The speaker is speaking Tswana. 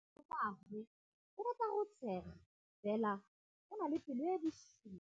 Malomagwe o rata go tshega fela o na le pelo e e bosula.